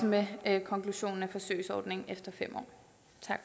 med en konklusion forsøgsordningen efter fem